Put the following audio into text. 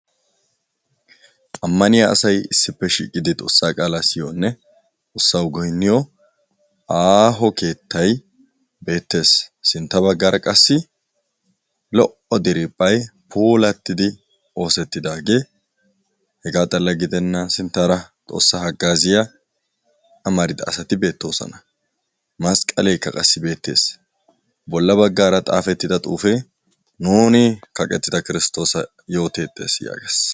Ammaniya asay issipe shiiqidi xoossaa qaala siyiyone xoossawu goyniyo aaho keettay beetees. Sintta baggaara qassi lo'o diriphpay puulatidi oosetidage hegaa xalla gidenan sinttara xoossaa haggaziya amarida asati beetosona; masqqaleka qa beetes; bolla baggaara xaafetida xuufe "Nuni kaqqetida kirstossa yootetees." yaagees.